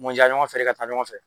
Mɔja ɲɔgɔn fere ka taa ɲɔgɔn fɛ